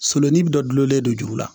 Sololen bi dɔlen don juru la